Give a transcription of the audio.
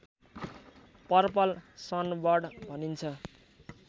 purple sunbird भनिन्छ